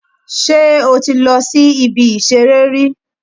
Sé o ti lọ si ibi ìṣeré rí